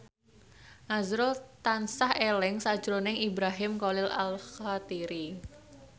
azrul tansah eling sakjroning Ibrahim Khalil Alkatiri